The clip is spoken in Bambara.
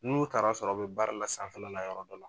N'u taara sɔrɔ a' bɛ baara la sanfɛla la yɔrɔ dɔ la.